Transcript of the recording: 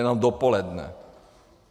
Jenom dopoledne.